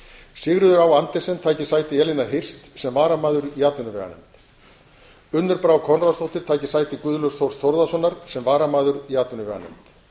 sigríður á andersen taki sæti elínar hirst sem varamaður í atvinnuveganefnd unnur brá konráðsdóttir taki sæti guðlaugs þórs þórðarsonar sem varamaður í atvinnuveganefnd